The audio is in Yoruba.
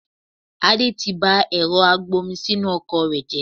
Adé tí bá ẹ̀rọ agbomisinu ọkọ̀ rẹ jẹ